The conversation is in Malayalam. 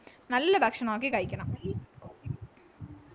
നല്ല ഭക്ഷണം നോക്കി കഴിക്കണം